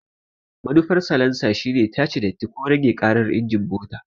Manufar salansa shine tace datti ko rage ƙarar injin mota.